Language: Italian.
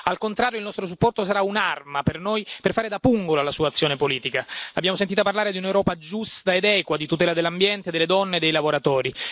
Al contrario, il nostro supporto sarà un'arma per noi, per fare da pungolo alla Sua azione politica. L'abbiamo sentita parlare di un'Europa giusta ed equa, di tutela dell'ambiente e delle donne e dei lavoratori.